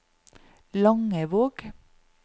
Langevåg